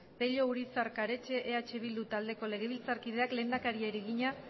pello urizar karetxe eh bildu taldeko legebiltzarkideak lehendakariari egina